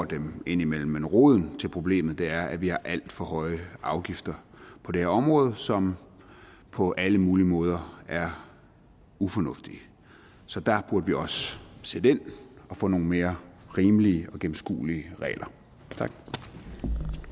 dem indimellem men roden til problemet er at vi har alt for høje afgifter på det her område som på alle mulige måder er ufornuftigt så der burde vi også sætte ind og få nogle mere rimelige og gennemskuelige regler